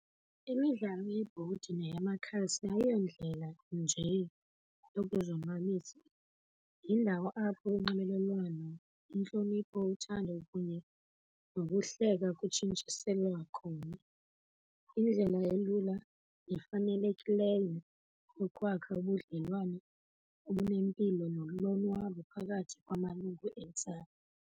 Imidlalo yebhodi nayemakhasi ayiyondlela nje yokuzonwabisa. Yindawo apho unxibelelwano, intlonipho, uthando okunye nokuhleka kutshintshiselwa khona. Yndlela elula nefanelekileyo yokwakha ubudlelwane obunempilo nolonwabo phakathi kwamalungu entsapho.